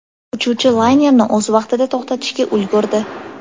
Uchuvchi laynerni o‘z vaqtida to‘xtatishga ulgurdi.